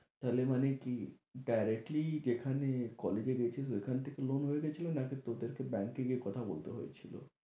তাহলে মানে কি directly যেখানে college এ গিয়েছিস ওখান থেকে হয়ে loan গেছিল নাকি তোদেরকে bank এ গিয়ে কথা বলতে হয়েছিল?